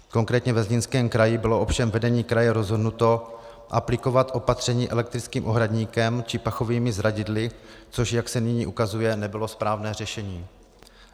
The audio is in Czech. Konkrétně ve Zlínském kraji bylo ovšem vedení kraje rozhodnuto aplikovat opatření elektrickým ohradníkem či pachovými zradidly, což, jak se nyní ukazuje, nebylo správné řešení.